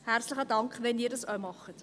Herzlichen Dank, wenn Sie dies auch tun.